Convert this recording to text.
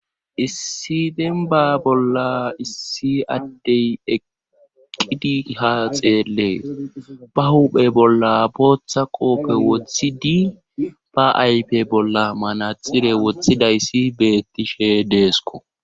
Issi demba bolla issi addey eqqidi ha xeelle ba huphe bolla booththa qoope woththi di ba aype bolla manaxire woththidayssi bettishe deesko